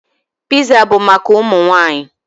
Piza bụ maka ụmụ nwaanyị.